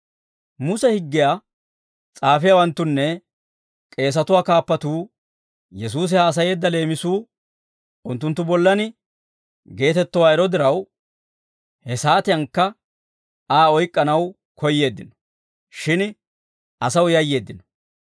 Muse higgiyaa s'aafiyaawanttunne k'eesatuwaa kaappatuu Yesuusi haasayeedda leemisuu, unttunttu bollan geetettowaa ero diraw, he saatiyankka Aa oyk'k'anaw koyyeeddino. Shin asaw yayyeeddino.